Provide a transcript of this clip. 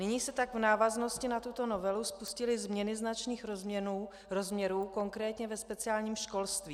Nyní se tak v návaznosti na tuto novelu spustily změny značných rozměrů, konkrétně ve speciálním školství.